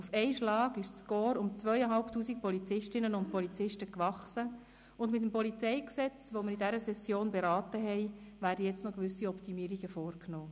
Auf einen Schlag wuchs das Korps um 2500 Polizistinnen und Polizisten, und mit dem PolG, das wir in dieser Session beraten haben, werden nun noch gewisse Optimierungen vorgenommen.